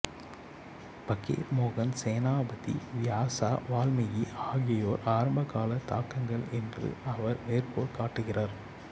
ஃபக்கீர் மோகன் சேனாபதி வியாசா வால்மீகி ஆகியோரை ஆரம்பகால தாக்கங்கள் என்று அவர் மேற்கோள் காட்டுகிறார்